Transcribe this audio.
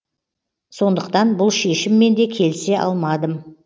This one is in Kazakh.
сондықтан бұл шешіммен де келісе алмадым